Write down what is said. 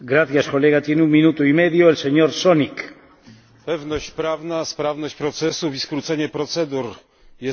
Pewność prawna, sprawność procesów i skrócenie procedur to podstawy efektywnej ochrony środowiska naturalnego.